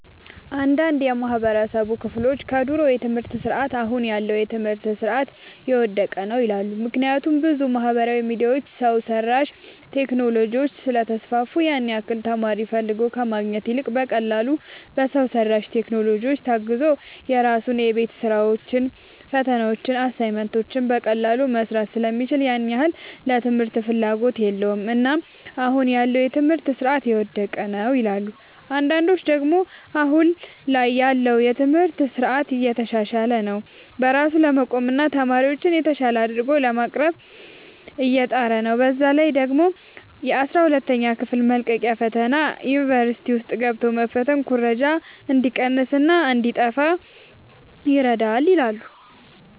አንዳንድ የማህበረሰቡ ክፍሎች ከድሮ የትምህርት ስርዓት አሁን ያለው የትምህርት ስርዓት የወደቀ ነው ይላሉ። ምክንያቱም ብዙ ማህበራዊ ሚዲያዎች፣ ሰው ሰራሽ ቴክኖሎጂዎች ስለተስፋፉ ያን ያህል ተማሪ ፈልጎ ከማግኘት ይልቅ በቀላሉ በሰው ሰራሽ ቴክኖሎጂዎች ታግዞ የራሱን የቤት ስራዎችን፣ ፈተናዎችን፣ አሳይመንቶችን በቀላሉ መስራት ስለሚችል ያን ያህል ለትምህርት ፍላጎት የለውም። እናም አሁን ያለው የትምህርት ስርዓት የወደቀ ነው ይላሉ። አንዳንዶች ደግሞ አሁን ላይ ያለው የትምህርት ስርዓት እየተሻሻለ ነው። በራሱ ለመቆምና ተማሪዎችን የተሻለ አድርጎ ለማቅረብ እየጣረ ነው። በዛ ላይ ደግሞ የአስራ ሁለተኛ ክፍል መልቀቂያ ፈተና ዩኒቨርሲቲ ውስጥ ገብቶ መፈተን ኩረጃ እንዲቀንስና እንዲጣፋ ይረዳል ይላሉ።